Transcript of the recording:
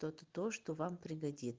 что ты то что вам пригодится